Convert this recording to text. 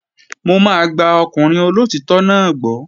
Mò máa gba ọkùnrin olóòtítọ́ náà gbọ́